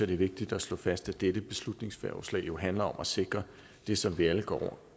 det er vigtigt at slå fast at dette beslutningsforslag jo handler om at sikre det som vi alle går